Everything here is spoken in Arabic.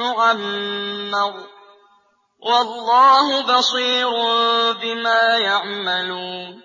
يُعَمَّرَ ۗ وَاللَّهُ بَصِيرٌ بِمَا يَعْمَلُونَ